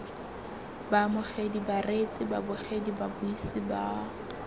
baamogedi bareetsi babogedi babuisi ba